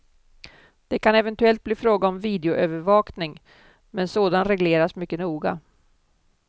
Det kan eventuellt bli fråga om videoövervakning, men sådan regleras mycket noga.